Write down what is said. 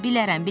Bilərəm.